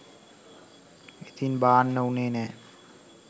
ඉතින් බාන්න උනේ නෑ